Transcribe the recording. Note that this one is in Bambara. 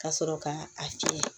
Ka sɔrɔ ka a fiyɛ